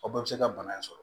Aw bɛɛ bɛ se ka bana in sɔrɔ